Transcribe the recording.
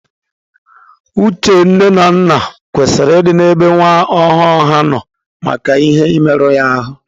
Uche nne na nna kwesịrị ị dị ebe nwa ọhụrụ ha nọ maka ihe ị merụ ya ahụ.